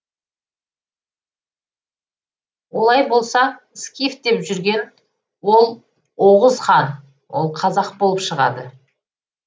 олай болса скиф деп жүрген ол оғұз хан ол қазақ болып шығады